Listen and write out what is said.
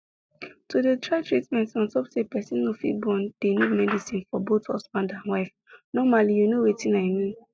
to dey try treatment ontop say person no fit born dey need medicine for both husband and wife normally you know wetin i mean